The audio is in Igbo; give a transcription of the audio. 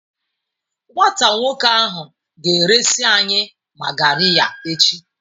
Nwata nwoke ahụ ga-eresị anyị magariya echi.